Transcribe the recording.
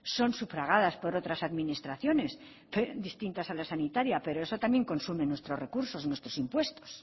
son sufragadas por otras administraciones distintas a la sanitaria pero eso también consume nuestros recursos nuestros impuestos